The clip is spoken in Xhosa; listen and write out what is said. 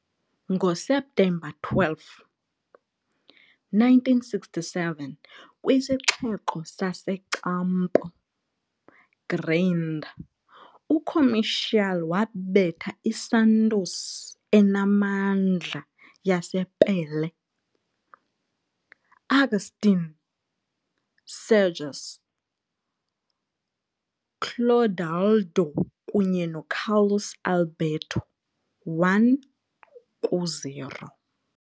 NgoSeptemba 12, 1967, kwisixeko saseCampo Grande, uComercial wabetha iSantos enamandla yasePelé, Agustín Cejas, Clodoaldo kunye noCarlos Alberto 1-0.